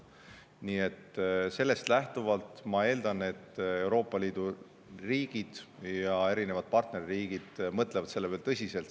Nii et sellest lähtuvalt ma eeldan, et Euroopa Liidu riigid ja erinevad partnerriigid mõtlevad selle peale tõsiselt.